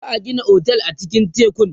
za'a Gina otel a cikin tekun